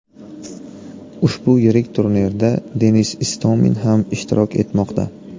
Ushbu yirik turnirda Denis Istomin ham ishtirok etmoqda.